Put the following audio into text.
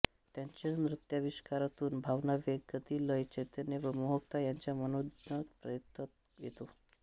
त्यांच्या नृत्याविष्कारातून भावनावेग गती लय चैतन्य व मोहकता ह्यांचा मनोज्ञ प्रत्यय येतो